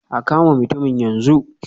A kama mutumin yanzu.